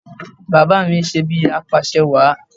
Bàbá à mi ń ṣe bíi apàṣẹwàá